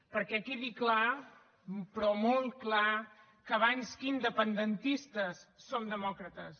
perquè quedi clar però molt clar que abans que independentistes som demòcrates